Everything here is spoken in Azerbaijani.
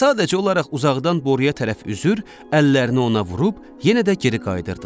Sadəcə olaraq uzaqdan boruya tərəf üzür, əllərini ona vurub yenə də geri qayıdırdılar.